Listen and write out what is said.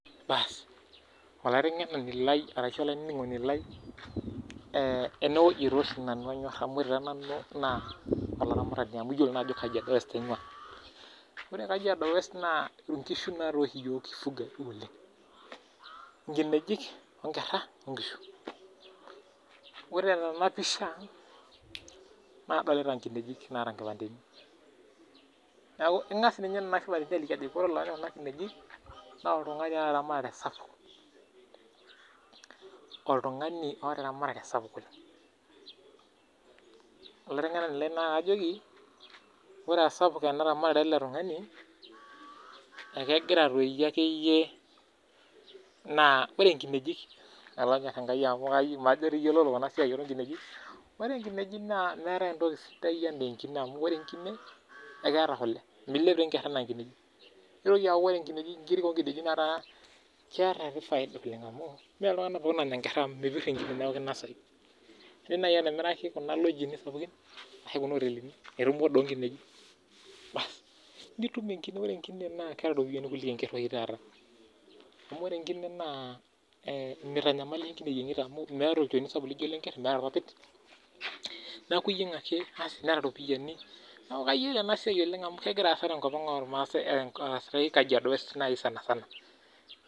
Baas, olaiteng'nani lai arashu olainining'oni lai enewueji tooshi nanu anyorr amu ore taa nanu naa olaramatani amu iyiolo naa ajo Kajiado west aing'waa. Ore te Kajiado west naa inkishu naa toi oshi iyiok kifuga oleng. Nkinejik, nkerra, nkishu. Ore tena pisha nadolita nkinejik naata nkipandeni. Neeku king'as ninye ina aliki ajo ore olopeny kuna kinejik naa oltung'ani oota eramatare sapuk, oltung'ani oota eramatare sapuk oleng. Olaiteng'enani lai naa kaajoki ore aa sapuk ena ramatare e tung'ani, ekegira toi akeyie, naa ore nkinejik olonyorr enkai majo toi iyiololo ena siai oo nkinejik, ore inkinejik naa meetae entoki sidai enaa enkine amu ore enkine ekeeta kule. Milep taa enkerr enaa inkineji. Nitoki aaku ore nkiri oo nkinejik naa keeta ake faida amu mee iltung'anak pookin onya nkerra amu mepirr enkine neeku kinosayu. Indiim naai atimiraki kuna lodging sapukin ashu kuna otelini enitum order oo nkinejik baas, nitum enkine, ore enkine naa keeta irpoyiani oleng kuliko enkerr oshi taata. Amu ore enkine naa mitanyamalisho enkine iyieng'ita amu ore enkine meeta olchoni sapuk enaa enkerr, meeta irpapit. Neeku iyieng' ake neeta iropiyiani. Kayiolo ena siai oleng amu kegira aasa tenkop ormaasai neisulaki Kajiado West naai sana sana